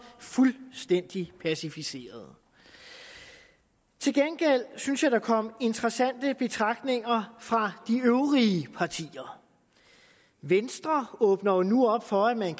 fuldstændig passiviseret til gengæld synes jeg at der kom interessante betragtninger fra de øvrige partier venstre åbner nu op for at man